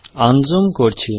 আনজুম করছি